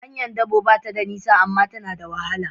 Hanyar dabo ba ta nisa, amma ta na da wahala.